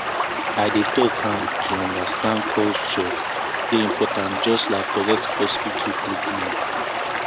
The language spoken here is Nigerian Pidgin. i dey talk am to understand culture dey important just like correct hospital treatment. um